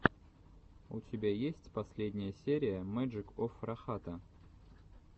у тебя есть последняя серия мэджик оф рахата